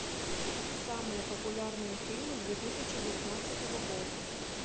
самые популярные фильмы две тысячи девятнадцатого года